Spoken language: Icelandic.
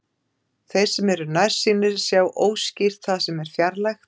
Þeir sem eru nærsýnir sjá óskýrt það sem er fjarlægt.